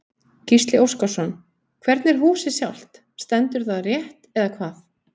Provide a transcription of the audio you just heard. Gísli Óskarsson: Hvernig er húsið sjálft, stendur það rétt eða hvað?